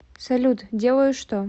салют делаю что